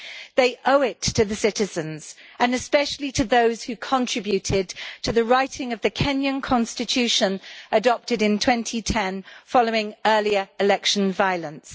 They owe it to the citizens and especially to those who contributed to the writing of the Kenyan Constitution adopted in 2010 following earlier election violence.